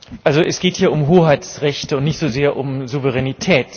Es geht hier um Hoheitsrechte und nicht so sehr um Souveränität.